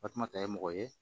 Tasuma ta ye mɔgɔ ye